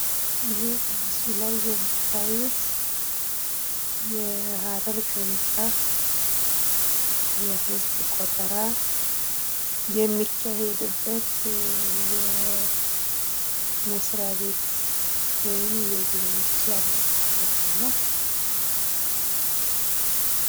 ይሄ በምስሉ ላይ የምታዩት የሀረር ቅርንጫፍ የህዝብ ቆጠራ የሚካሄድበት የመስሪያ ቤት ወይም ቢሮዎች ያለበት ቦታ ነው